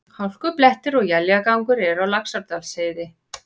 Hálkublettir og éljagangur eru á Laxárdalsheiði